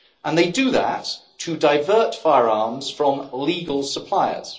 They do that to divert firearms from legal suppliers.